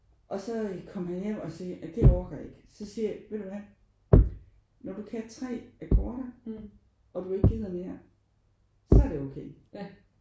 Og så øh kom han hjem og siger: Det orker jeg ikke. Så siger jeg: Ved du hvad når du kan 3 akkorder og du ikke gider mere så er det okay